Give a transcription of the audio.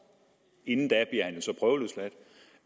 inden